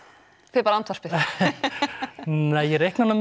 þið bara andvarpið nja ég reikna nú